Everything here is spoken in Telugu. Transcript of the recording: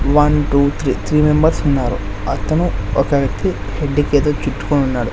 One two three three members ఉన్నారు అతను ఒక వ్యక్తి వంటికి ఏదో చుట్టుకొని ఉన్నాడు.